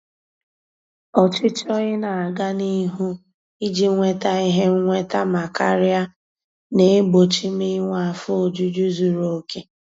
Ọchịchọ ị na-aga n'ihu iji nweta ihe nnweta ma karia na-egbochi m inwe afọ ojuju zuru oke.